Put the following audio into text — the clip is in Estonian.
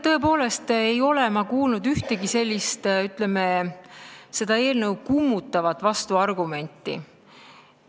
Tõepoolest ei ole ma kuulnud ühtegi seda eelnõu kummutavat vastuargumenti.